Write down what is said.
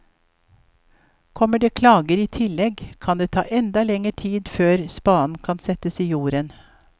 Kommer det klager i tillegg kan det ta enda lenger tid før spaden kan settes i jorden.